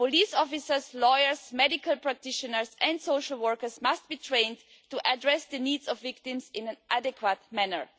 Police officers, lawyers, medical practitioners and social workers must be trained to address the needs of victims in an adequate manner.